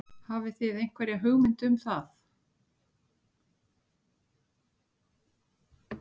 Hafið þið einhverja hugmynd um það?